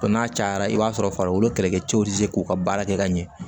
n'a cayara i b'a sɔrɔ farikolo kɛlɛkɛcɛw tɛ se k'u ka baara kɛ ka ɲɛ